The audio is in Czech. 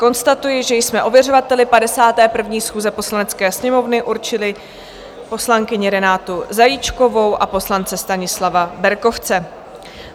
Konstatuji, že jsme ověřovateli 51. schůze Poslanecké sněmovny určili poslankyni Renátu Zajíčkovou a poslance Stanislava Berkovce.